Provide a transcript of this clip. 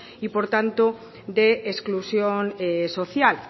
y por tanto de exclusión social